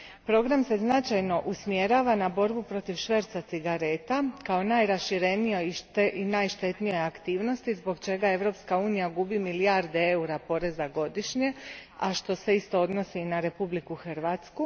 Program se značajno usmjerava na borbu protiv šverca cigaretama kao najraširenijoj i najštetnijoj aktivnosti zbog čega Europska unija gubi milijarde eura poreza godišnje, a što se isto odnosi na Republiku Hrvatsku.